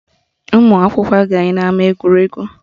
Ụmụakwụkwọ agaghị n'ama egwuregwu